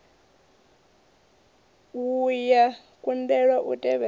wua ya kundelwa u tevhedza